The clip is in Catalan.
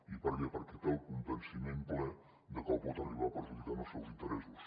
i per què perquè té el convenciment ple de que el pot arribar a perjudicar en els seus interessos